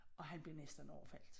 Og han blev næsten overfaldet